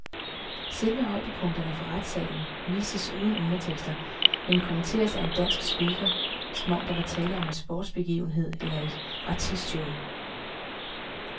Selve højdepunkterne fra retssalen vises uden undertekster, men kommenteres af en dansk speaker, som om der var tale om en sportsbegivenhed eller et artistshow.